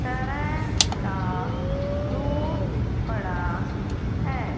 तरह का फ्रूट पड़ा है।